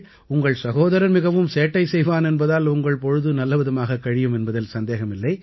உங்கள் சகோதரன் மிகவும் சேட்டை செய்வான் என்பதால் உங்கள் பொழுது நல்லவிதமாகக் கழியும் என்பதில் சந்தேகமில்லை